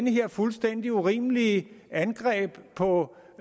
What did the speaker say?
her fuldstændig urimelige angreb på